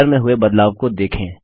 colour में हुए बदलाव को देखें